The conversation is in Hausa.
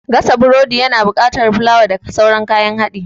Gasa burodi ya na buƙatar fulawa da sauran kayan haɗi